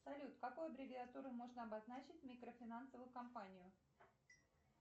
салют какой аббревиатурой можно обозначить микрофинансовую компанию